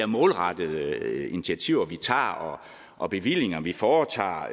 målrettede initiativer vi tager og bevillinger vi foretager